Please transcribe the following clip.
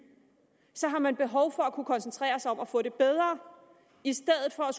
har man behov for at kunne koncentrere sig om at få det bedre i stedet for